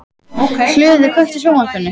Hlöður, kveiktu á sjónvarpinu.